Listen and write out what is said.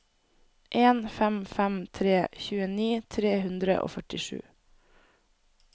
en fem fem tre tjueni tre hundre og førtisju